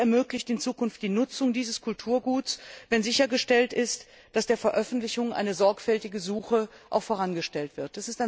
Sie ermöglicht in Zukunft die Nutzung dieses Kulturguts, wenn sichergestellt ist, dass der Veröffentlichung eine sorgfältige Suche vorangestellt wird.